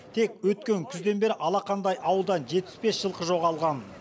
тек өткен күзден бері алақандай ауылдан жетпіс бес жылқы жоғалған